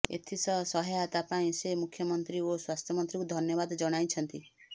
ଏଥିସହ ସହାୟତା ପାଇଁ ସେ ମୁଖ୍ୟମନ୍ତ୍ରୀ ଓ ସ୍ୱାସ୍ଥ୍ୟମନ୍ତ୍ରୀଙ୍କୁ ଧନ୍ୟବାଦ ଜଣାଇଛନ୍ତି